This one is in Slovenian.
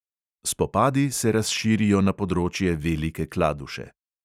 Spopadi se razširijo na področje velike kladuše.